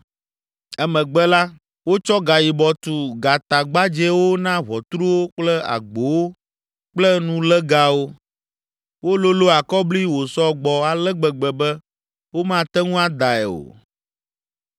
Emegbe la, wotsɔ gayibɔ tu gatagbadzɛwo na ʋɔtruwo kple agbowo kple nulégawo. Wololo akɔbli wòsɔ gbɔ ale gbegbe be womate ŋu adae o.